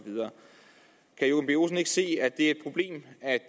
ikke se at det er et problem at